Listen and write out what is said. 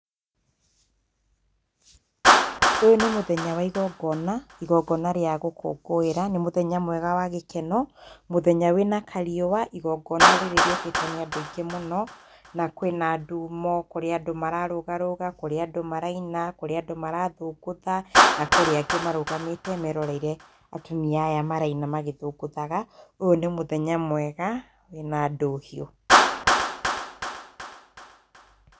Ũyũ nĩ mũthenya wa igongona, igongona rĩa gũkũngũĩra. Nĩ mũthenya mwega wa gĩkeno, mũthenya wĩna kariũa. Igongona rĩrĩ rĩũkĩtwo nĩ andũ aingĩ mũno, na kwĩna andũ, kũrĩ andũ mararũgarũga, kũrĩ andũ maraina, kũrĩ andũ marathũngũtha, na kũrĩ angĩ marũgamĩte meeroreire atumia aya maraina magĩthũngũthaga. Ũyũ nĩ mũthenya mwega wĩna ndũhiũ.